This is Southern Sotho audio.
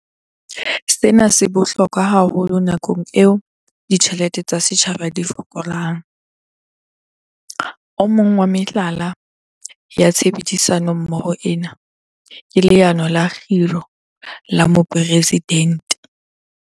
Sena se bohlokwa haholo nakong eo ditjhelete tsa setjhaba di fokolang. O mong wa mehlala ya tshebedisano mmoho ena ke Leano la Kgiro la Mopresi-dente.